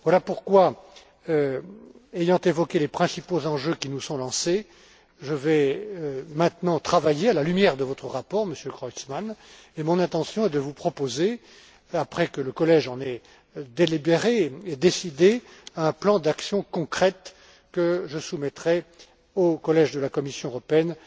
Voilà pourquoi, ayant évoqué les principaux enjeux qui nous sont lancés, je vais maintenant travailler à la lumière de votre rapport, Monsieur Creutzmann, et mon intention est de vous proposer, après que le collège en aura délibéré et décidé, un plan d'actions concrètes que je soumettrai au collège de la Commission européenne